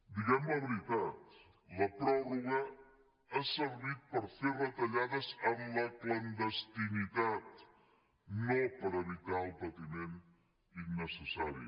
diguem la veritat la pròrroga ha servit per fer retallades en la clandestinitat no per evitar el patiment innecessari